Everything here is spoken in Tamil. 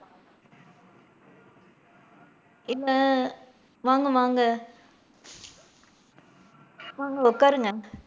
என்ன வாங்க வாங்க, வாங்க உட்காருங்க.